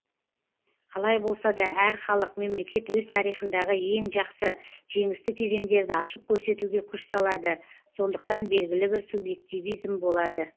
қалай болса да әр халық мемлекет өз тарихындағы ең жақсы жеңісті кезеңдерді ашып көрсетуге күш салады сондықтан белгілі бір субъективизм болады